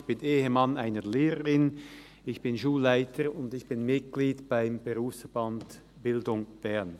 Ich bin Ehemann einer Lehrerin, Schulleiter und Mitglied beim Berufsverband Bildung Bern.